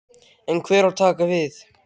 En hver á að taka við?